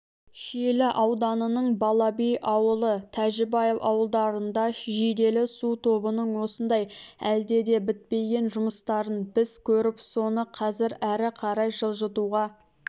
шиелі ауданының балаби ауылы тәжібаев ауылдарында жиделі су тобының осындай әлде де бітпеген жұмыстарын біз көріп соны қазір әрі қарай жылжытуға